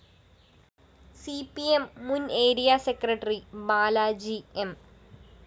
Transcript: C P M മുന്‍ ആരിയ secretary Balaji M